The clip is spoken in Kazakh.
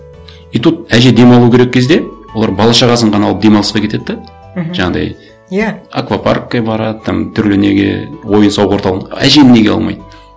и тут әже демалу керек кезде олар бала шағасын ғана алып демалысқа кетеді де мхм жаңағындай иә аквапаркке барады там түрлі неге ойын сауық орталығына әжені неге алмайды